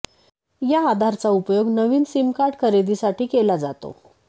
या आधारचा उपयोग नवीन सीमकार्ड खरेदी साठी केला जातो